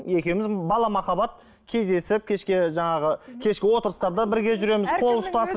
екеуміз бала махаббат кездесіп кешке жаңағы кешкі отырыстарда бірге жүреміз қол ұстасып